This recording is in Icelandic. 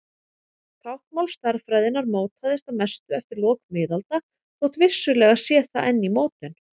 Táknmál stærðfræðinnar mótaðist að mestu eftir lok miðalda þótt vissulega sé það enn í mótun.